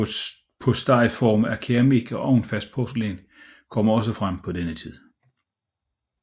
Postejforme af keramik og ovnfast porcelæn kommer også frem på denne tid